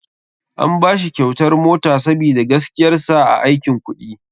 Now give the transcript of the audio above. An bashi kyautar mota sabida gaskiyar sa a aikin kuɗi.